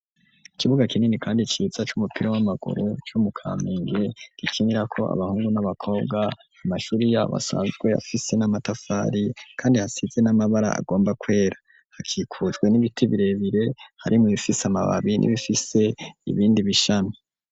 Ikibuga kinini, kandi ciza c'umupira w'amagoro co mu kaminge gikinira ko abahungu n'abakobwa amashuri yabo asanzwe yafise n'amatafari, kandi hasize n'amabara agomba kwera hakikuswe n'ibiti birebire harimwubifise amababi n'ibifise ibindi bishami.